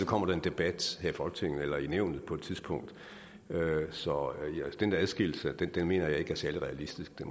kommer en debat her i folketinget eller i nævn på et tidspunkt så den adskillelse mener jeg ikke er særlig realistisk det